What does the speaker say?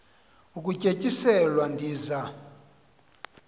ukutye tyiselwa ndiza